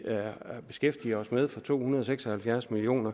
beskæftiger os med for to hundrede og seks og halvfjerds million